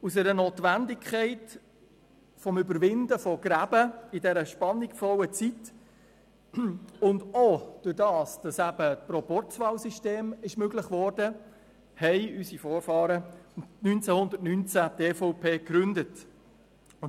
Aus der Notwendigkeit zur Überwindung von Gräben in dieser spannungsvollen Zeit und auch dadurch, dass das Proporzwahlsystem möglich wurde, gründeten unsere Vorfahren 1919 die EVP.